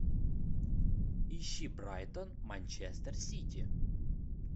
ищи брайтон манчестер сити